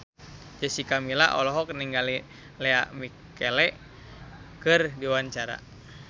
Jessica Milla olohok ningali Lea Michele keur diwawancara